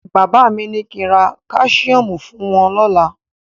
Bàbá mi ní kí ń ra Káṣíọ́mù fún wọ́n lọ́la.